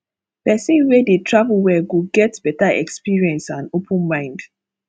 person wey dey travel well go get better experience and open mind